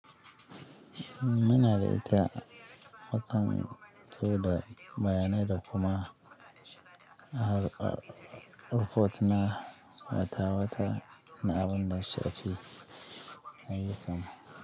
Muna da ita watan to da bayanai da kuma har a hotuna matawata na abun da suka fi ai kam.